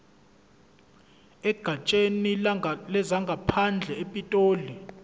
egatsheni lezangaphandle epitoli